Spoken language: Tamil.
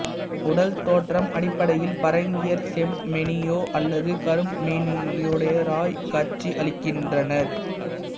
உடல் தோற்றம் அடிப்படையில் பரங்கியர் செம்மேனியோ அல்லது கருமேனியுடையோராய் காட்சியளிக்கின்றனர்